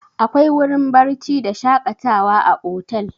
Akwai wurin barci da shaƙatawa a otel.